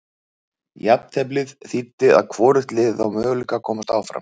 Jafnteflið þýddi að hvorugt liðið á möguleika að komast áfram.